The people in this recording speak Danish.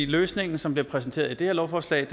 løsningen som bliver præsenteret i det her lovforslag